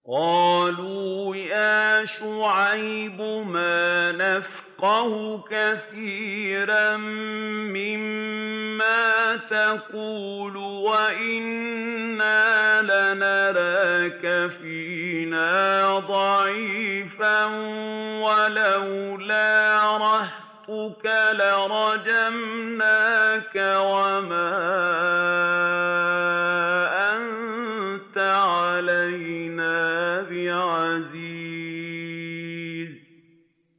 قَالُوا يَا شُعَيْبُ مَا نَفْقَهُ كَثِيرًا مِّمَّا تَقُولُ وَإِنَّا لَنَرَاكَ فِينَا ضَعِيفًا ۖ وَلَوْلَا رَهْطُكَ لَرَجَمْنَاكَ ۖ وَمَا أَنتَ عَلَيْنَا بِعَزِيزٍ